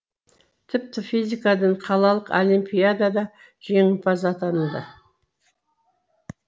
тіпті физикадан қалалық олимпиадада жеңімпаз атанды